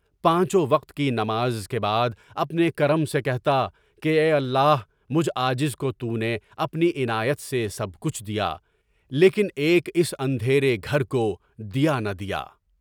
پانچوں وقت کی نماز کے بعد اپنے کرم سے کہتا کہ اے اللہ! مجھ عاجز کو تُونے اپنی عنایت سے سب کچھ دیا، لیکن ایک اس اندھیرے گھر کو دیا نہ دیا۔